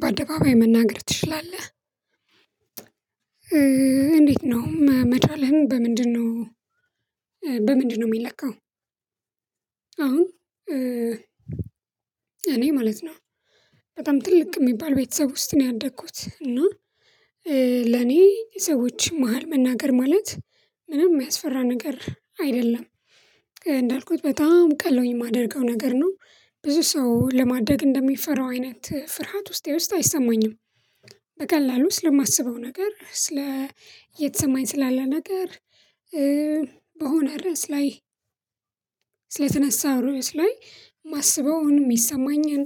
በአደባባይ መናገር ትችላለህ? እንዴት ነው መቻልህን በምንድነው በምንድነው የሚለካው? አሁን እኔ ማለት ነው በጣም ትልቅ የሚባል ቤተሰብ ውስጥ ነው ያደኩት። እና ለኔ ሰዎች መሃል መናገር ማለት ምንም የሚያስፈራ ነገር አይደለም። እንዳልኩት በጣም ቀለውኝ የማደርገው ነገር ነው። ብዙ ሰው ለማደግ እንደሚፈራው አይነት ፍርሃት ውስጤ ውስጥ አይሰማኝም። በቀላሉ ስለማስበው ነገር ስለ እየተሰማኝ ስላለ ነገር በሆነ ርዕስ ላይ ስለተነሳ ርዕስ ላይ ማስበውን የሚሰማኝን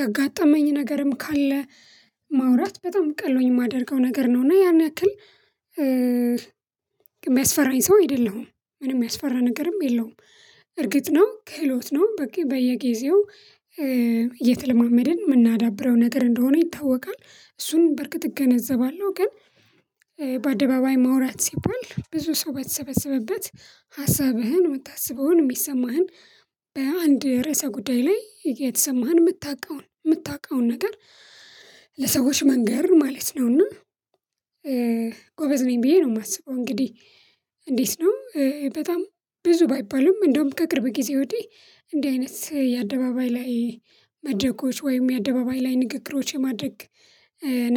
ያጋጠመኝ ነገርም ካለ ማውራት በጣም ቀሎኝ የማደርገው ነገር ነው። እና ያን ያክል የሚያስፈራኝ ሰው አይደለሁም። ምንም የሚያስፈራ ነገርም የለውም። እርግጥ ነው ክህሎት ነው። በቂ በየጊዜው እየተለማመድን የምናዳብረው ነገር እንደሆነ ይታወቃል። እሱን በርግጥ እገነዘባለሁ። ግን በአደባባይ ማውራት ሲባል ብዙ ሰው በተሰበሰበበት ሀሳብህን የምታስበውን የሚሰማህን በአንድ ርዕሰ ጉዳይ ላይ የተሰማህን የምታውቀውን የምታውቀውን ነገር ለሰዎች መንገር ማለት ነው። እና ጎበዝ ነኝ ብዬ ነው የማስበው። እንግዲህ እንዴት ነው በጣም ብዙ ባይባለም እንደውም ከቅርብ ጊዜ ወዲህ እንዲህ አይነት የአደባባይ ላይ መድረኮች ወይም የአደባባይ ላይ ንግግሮች የማድረግ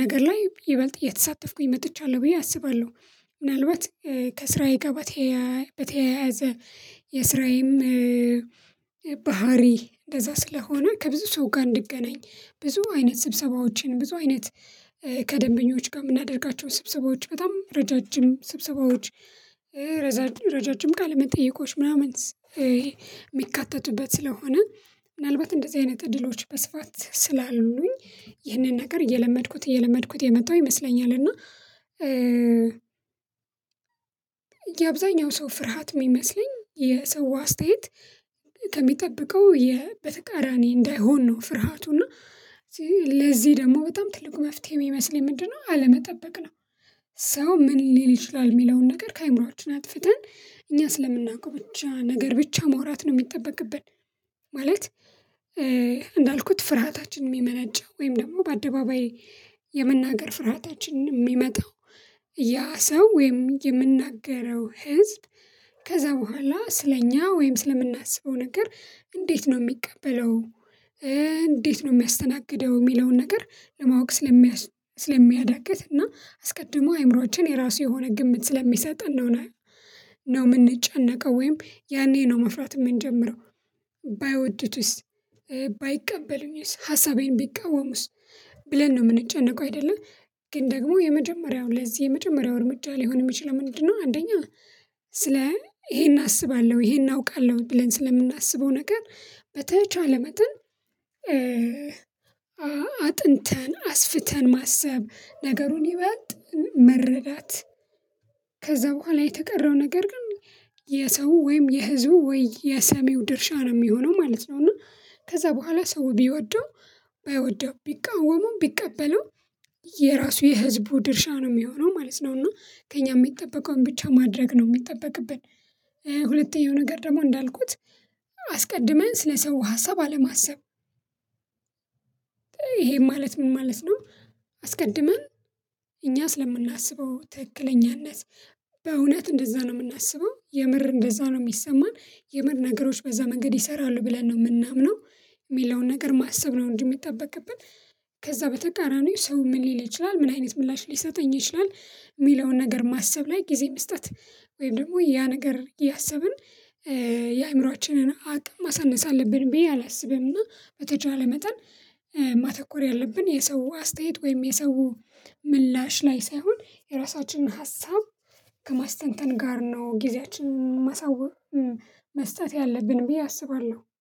ነገር ላይ ይበልጥ እየተሳተፍኩኝ መጥቻለሁ ብዬ አስባለሁ። ምናልባት ከስራየ ጋ በተያያዘ የስራዬም ባህሪ እንደዛ ስለሆነ ከብዙ ሰው ጋር እንድገናኝ ብዙ አይነት ስብሰባዎችን ብዙ አይነት ከደንበኞች ጋር የምናደርጋቸው ስብሰባዎች በጣም ረጃጅም ስብሰባዎች ረጃጅም ቃለመጠየቆች ምናምን ይሄ የሚካተቱበት ስለሆነ ምናልባት እንደዚህ አይነት እድሎች በስፋት ስላሉኝ ይህንን ነገር እየለመድኩት እየለመድኩት የመጣሁ ይመስለኛል። እና የአብዛኛው ሰው ፍርሃት የሚመስለኝ የሰው አስተያየት ከሚጠብቀው በተቃራኒ እንዳይሆን ነው ፍርሃቱ። እና ለዚህ ደግሞ በጣም ትልቁ መፍትሄ የሚመስለኝ ምንድነው? አለመጠበቅ ነው። ሰው ምን ሊል ይችላል? የሚለውን ነገር ከአእምሮአችን አጥፍተን እኛ ስለምናውቀው ብቻ ነገር ብቻ ማውራት ነው የሚጠበቅብን። ማለት እንዳልኩት ፍርሃታችን የሚመነጨው ወይም ደግሞ በአደባባይ የመናገር ፍርሃታችን የሚመጣው ያ ሰው ወይም የምንናገረው ህዝብ ከዛ በኋላ ስለኛ ወይም ስለምናስበው ነገር እንዴት ነው የሚቀበለው እንዴት ነው የሚያስተናግደው የሚለውን ነገር ለማወቅ ስለሚያዳግት እና አስቀድሞ አይምሮአችን የራሱ የሆነ ግምት ስለሚሰጥ ነው የምንጨነቀው ወይም ያኔ ነው መፍራት የምንጀምረው። ባይወዱትስ? ባይቀበሉኝስ? ሀሳቤን ቢቃወሙስ? ብለን ነው የምንጨነቀው አይደለ? ግን ደግሞ የመጀመሪያውን ለዚህ የመጀመሪያው እርምጃ ሊሆን የሚችለው ምንድነው አንደኛ ስለ ይሄን አስባለሁ ይሄን አውቃለሁ ብለን ስለምናስበው ነገር በተቻለ መጠን አጥንተን አስፍተን ማሰብ፤ ነገሩን ይበልጥ መረዳት፤ ከዛ በኋላ የተቀረው ነገር ግን የሰው ወይም የህዝቡ ወይ የሰሚው ድርሻ ነው የሚሆነው ማለት ነው። እና ከዛ በኋላ ሰው ቢወደው ባይወደው ቢቃወሙም ቢቀበለውም። የራሱ የህዝቡ ድርሻ ነው የሚሆነው ማለት ነው እና ከእኛ የሚጠበቀውን ብቻ ማድረግ ነው የሚጠበቅብን። ሁለተኛው ነገር ደግሞ እንዳልኩት አስቀድመን ስለሰው ሀሳብ አለማሰብ። ይሄ ማለት ምን ማለት ነው? አስቀድመን እኛ ስለምናስበው ትክክለኛነት በእውነት እንደዛ ነው የምናስበው? የምር እንደዛ ነው የሚሰማን? የምር ነገሮች በዛ መንገድ ይሰራሉ ብለን ነው የምናምነው? የሚለውን ነገር ማሰብ ነው እንጂ እሚጠበቅብን ከዛ በተቃራኒው ሰው ምን ሊል ይችላል? ምን አይነት ምላሽ ሊሰጠኝ ይችላል? የሚለውን ነገር ማሰብ ላይ ጊዜ መስጠት ወይም ደግሞ ያ ነገር እያሰብን የአእምሮአችንን አቅም ማሳነስ አለብን ብዬ አላስብም። እና በተቻለ መጠን ማተኮር ያለብን የሰው አስተያየት ወይም የሰው ምላሽ ላይ ሳይሆን የራሳችንን ሀሳብ ከማስተንተን ጋር ነው ጊዜያችንን ማሳወቅ መስጠት ያለብን ብዬ አስባለሁ።